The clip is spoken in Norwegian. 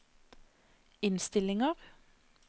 innstillinger